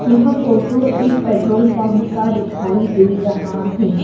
यह फोटो एक petrol pump का दिखाई दे रहा है।